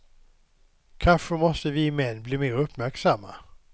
Kanske måste vi män bli mer uppmärksamma.